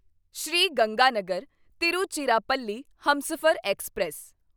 Sri Ganganagar Tiruchirappalli Humsafar express